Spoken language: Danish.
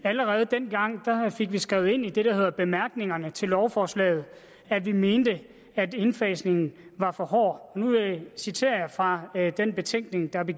allerede dengang fik vi skrevet ind i det der hedder bemærkningerne til lovforslaget at vi mente at indfasningen var for hård nu citerer jeg fra den betænkning der blev